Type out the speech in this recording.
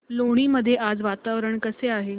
लोणी मध्ये आज वातावरण कसे आहे